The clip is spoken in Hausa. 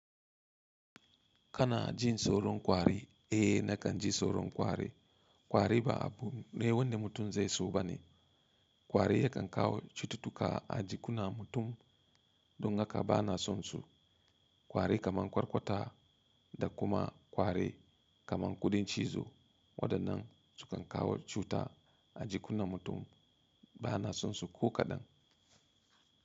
Kana jin tsoron kwari? Eh na kan ji tsoron kwari. Kwari ba abu ne wanda mutum zai so ba ne. Kwari yakan kawo cututtuka a jikunan mutum don haka bana sonsu. Kwari kaman Kwarkwata, da kuma Kwari kaman Kuɗin Cizo. Waɗannan su kan kawo cuta a jikunan mutum. Bana sonsu ko kaɗan.